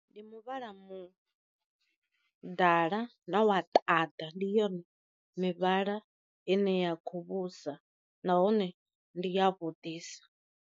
Ndi muvhala mu dala na wa ṱanda, ndi yone mivhala ine ya kho vhusa nahone ndi ya vhuḓisa.